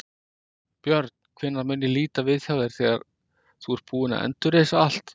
Björn: Hvenær mun ég líta við hjá þér þegar þú ert búinn að endurreisa allt?